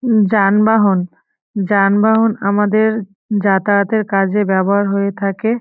উম যানবাহন যানবাহন আমাদের যাতায়াতের কাজে ব্যাবহার হয়ে থাকে।